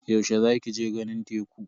Yaushe za ki je ganin teku?